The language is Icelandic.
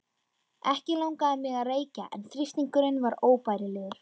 Ekki langaði mig að reykja en þrýstingurinn var óbærilegur.